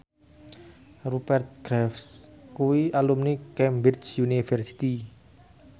Rupert Graves kuwi alumni Cambridge University